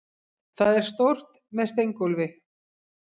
Það er stórt, með steingólfi.